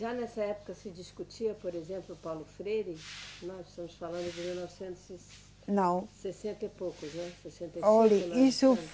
Já nessa época se discutia, por exemplo, o Paulo Freire? Nós estamos falando de mil novecentos e. Não. Sessenta e poucos, né. Sessenta e. Olhe, isso.